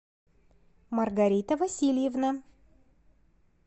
маргарита васильевна